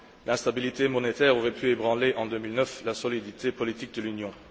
L'instabilité monétaire aurait pu ébranler, en 2009, la solidité politique de l'Union.